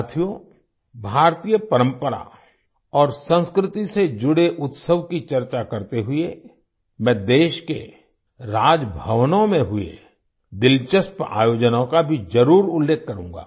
साथियो भारतीय परंपरा और संस्कृति से जुड़े उत्सव की चर्चा करते हुए मैं देश के राजभवनों में हुए दिलचस्प आयोजनों का भी जरुर उल्लेख करूँगा